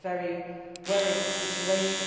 It is a very worrying situation.